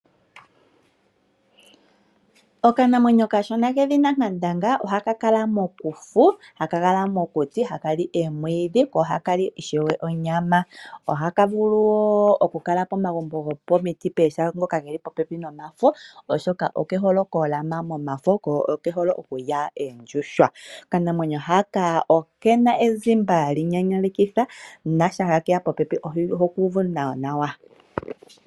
Okanamwenyo okashona kedhina nkandanga ohaka kala mokufu, haka kala mokuti, haka li omwiidhi, haka li ishewe onyama. Ohaka vulu wo oku kala pomagumbo gomiti pehala ngoka ge li po pepi nomafo oshoka oke hole okulya omafo noshowo oondjuhwa. Okanamwenyo haka okena ezimba lyi nyanyalekitha na shampa keya po pepi oho kuuvu nawa nawa.